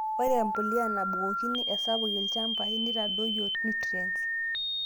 Ore empuliya nabukokini esapuk ilchampai, neitadoyio nutriense.